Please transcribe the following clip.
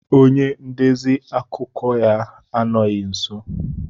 Onye ndezi akụkọ ya anọghị nso.